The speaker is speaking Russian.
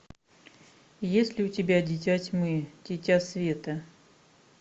есть ли у тебя дитя тьмы дитя света